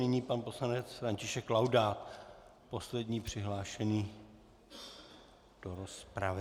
Nyní pan poslanec František Laudát, poslední přihlášený do rozpravy.